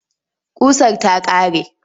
Ƙusar ta ƙare.